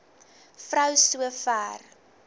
vrou so ver